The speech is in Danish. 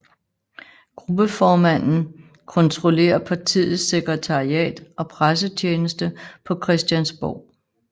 Gruppeformanden kontrollerer partiets sekretariat og pressetjeneste på Christiansborg